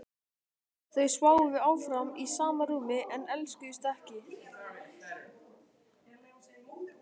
Þau sváfu áfram í sama rúmi en elskuðust ekki.